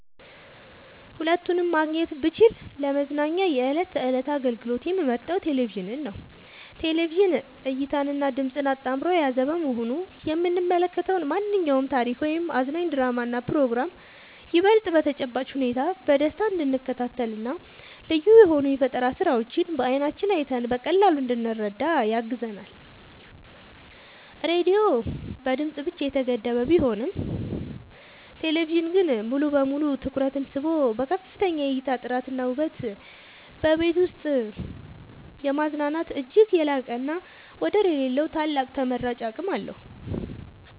ሁለቱንም ማግኘት ብችል ለመዝናኛ የዕለት ተዕለት አገልግሎት የምመርጠው ቴሌቪዥንን ነው። ቴሌቪዥን እይታንና ድምጽን አጣምሮ የያዘ በመሆኑ የምንመለከተውን ማንኛውንም ታሪክ ወይም አዝናኝ ድራማና ፕሮግራም ይበልጥ በተጨባጭ ሁኔታ በደስታ እንድንከታተልና ልዩ የሆኑ የፈጠራ ስራዎችን በዓይናችን አይተን በቀላሉ እንድንረዳ ያግዘናል። ራዲዮ በድምጽ ብቻ የተገደበ ቢሆንም ቴሌቪዥን ግን ሙሉ በሙሉ ትኩረትን ስቦ በከፍተኛ የእይታ ጥራትና ውበት በቤት ውስጥ የማዝናናት እጅግ የላቀና ወደር የሌለው ታላቅ ተመራጭ አቅም አለው።